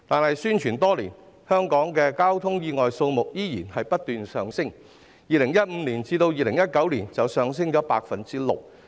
可是宣傳了多年，香港的交通意外數目仍然不斷上升，在2015年至2019年便上升了 6%。